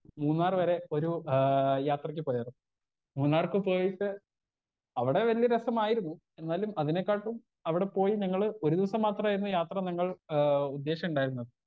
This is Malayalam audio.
സ്പീക്കർ 1 മൂന്നാറ് വരെ ഏ ഒരു യാത്രക്ക് പോയായിരുന്നു മൂന്നാർക്ക് പോയിട്ട് അവിടെ വല്ല്യ രസമായിരുന്നു എന്നാലും അതിനെക്കാട്ടിലും അവിടെ പോയി ഞങ്ങള് ഒരു ദിവസം മാത്രായിരുന്നു യാത്ര ഞങ്ങൾ ആ ഉദ്ധേശണ്ടായിരുന്നത്.